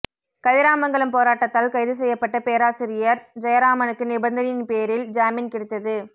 கதிராமங்கலம் போராட்டத்தால் கைது செய்யப்பட்ட பேராசிரியர் ஜெயராமனுக்கு நிபந்தனையின் பேரில் ஜாமீன் கிடைத்தது